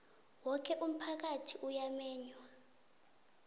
woke umphakathi uyamenywa